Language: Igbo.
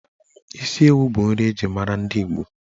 Isi ewu bụ nri eji mara ndi Igbo.